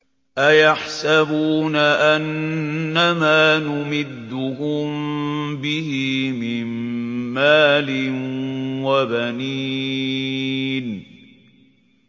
أَيَحْسَبُونَ أَنَّمَا نُمِدُّهُم بِهِ مِن مَّالٍ وَبَنِينَ